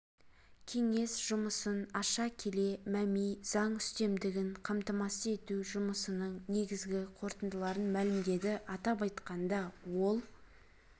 кеңес жұмысын аша келе мәми заң үстемдігін қамтамасыз ету жұмысының негізгі қорытындыларын мәлімдеді атап айтқанда ол